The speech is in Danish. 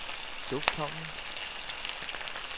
lufthavnen